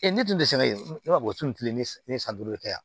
ne tun tɛ se ne b'a fɔ o tun tɛ ne si ne ye san duuru de kɛ yan